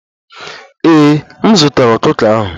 Ee, m zụtara ọkụkọ ahụ